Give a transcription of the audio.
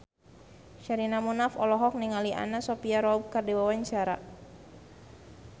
Sherina Munaf olohok ningali Anna Sophia Robb keur diwawancara